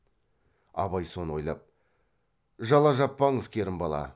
абай соны ойлап жала жаппаңыз керімбала